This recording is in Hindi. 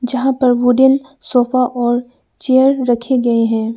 जहां पर वुडेन सोफा और चेयर रखे गए हैं।